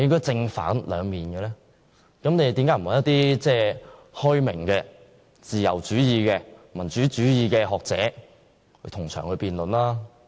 政府為何不邀請開明、自由主義、民主主義的學者同場辯論？